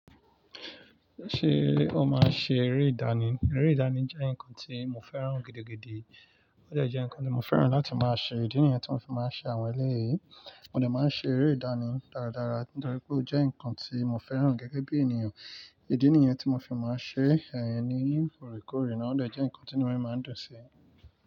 Ṣé o máa ṣe eré ìdánì? Eré ìdánì jẹ́ nǹkan tí mo fẹ́ràn gidi gidi. Ó dẹ jẹ́ nǹkan tí mo fẹ́ràn láti máa ṣe. Ìdí nìyẹn tí mo fi máa ń ṣe àwọn eléyìí. Mo dẹ máa ń ṣe eré ìdánì dáradára nítorí pé ó jẹ́ nǹkan tí mo fẹ́ràn gẹ́gẹ́ bí ènìyàn. Ìdí nìyẹn tí mo fi máa ń ṣe ẹ̀hn ní orekore naa. Ó de jẹ́ nǹkan tí inu mi máa ń dún si.